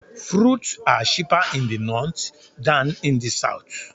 Fruits are cheaper in the north than in the south.